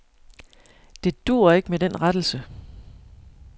Det duer ikke med den rettelse.